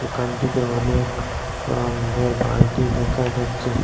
দোকানটিতে অনেক রঙ্গের বালটি দেখা যাচ্ছে।